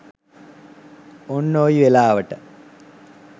ඔන්න ඔයි වෙලාවට